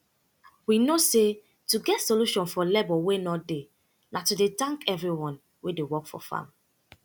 we know say to get solution for labor wey nor dey na to de thank everyone wey dey work for farm